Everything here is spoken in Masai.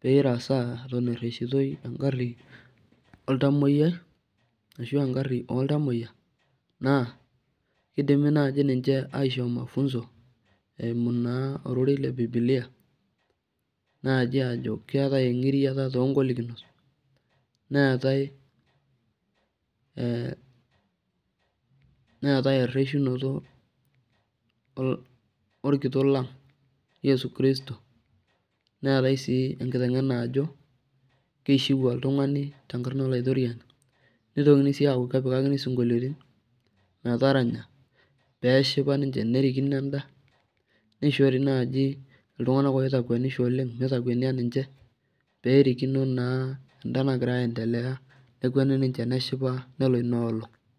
peresaa eton erreshitoi egarri oltamoyiai, ashu egarri oltamoyia, naa, kidimi naji ninche aisho mafunzo, eimu naa ororei le bibilia, naji ajo keetae eng'iriata togolikinot, neetae neetae erreshunoto orkitok lang Yesu Christo, neetae si enkiteng'ena ajo, kishiu oltung'ani tenkarna olaitorriani, nitokini si aku kepikakini sinkolioitin metaranya peshipa ninche nerikino enda, nishori naji iltung'anak oitakuenisho oleng mitakuenia ninche, perikino naa enda nagira aendelea, nekueni ninche neshipa, nelo inoolong'.